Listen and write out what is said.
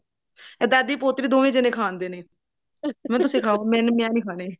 ਇਹ ਦਾਦੀ ਪੋਤਰੀ ਦੋਵੇਂ ਜਿਹੇ ਖਾਂਦੇ ਨੇ ਮੰਮੀ ਤੁਸੀਂ ਖਾਓ ਮੈਂ ਨਹੀਂ ਖਾਨੇ